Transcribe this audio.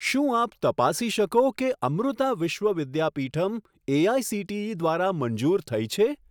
શું આપ તપાસી શકો કે અમૃતા વિશ્વ વિદ્યાપીઠમ એઆઇસીટીઈ દ્વારા મંજૂર થઈ છે?